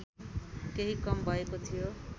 केही कम भएको थियो